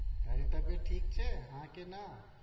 તારી તબિયત ઠીક છે હા કે ના